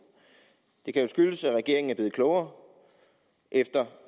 det kan jo skyldes at regeringen er blevet klogere efter